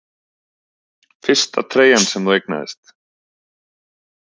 Fyrsta treyjan sem þú eignaðist?